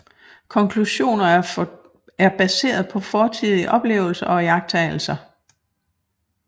Konklusioner er baseret på fortidige oplevelser og iagttagelser